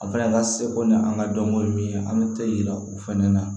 A fana ka seko ni an ka dɔnko min ye an bɛ tɛ yira o fɛnɛ na